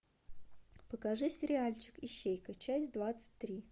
покажи сериальчик ищейка часть двадцать три